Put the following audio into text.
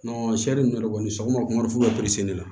sariya ninnu yɛrɛ kɔni sɔgɔma fo ka na